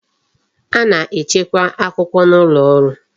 A na-echekwa akwụkwọ n'ụlọ ọrụ